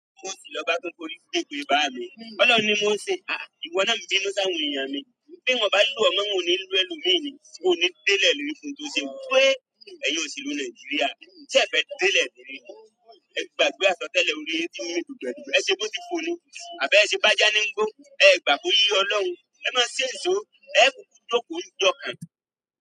Mo ti lọ gba kún koríbi gbé pé bá mi. T'Ọlọ́run ni mo n se. Àh, ìwọ náà ń bínú sáwọn èèyàn mi. Bí n ò bá lò ọ́ mọ́ n ò ní lo ẹlòmíì ni. O ò ní délẹ̀ ìlérí fóhun tó ṣe hun pé, ẹ̀yin òṣèlú Nàìjíríà, ṣẹ́ ẹ̀ fẹ́ délẹ̀ ìlérí ni, ẹ gbàgbé àsọtẹ́lẹ̀ orí i yín tí ń mì dùgbẹ̀dùgbẹ̀, e ṣe bó ti fò ni. Àbí ẹ ṣe bá já ní ń gbó. Ẹ ẹ̀ gbà pó yé Ọlọ́run. Ẹ máa ṣé ǹ ṣó. Ẹ ẹ́ kúkú jókòó ń jọ́ kan.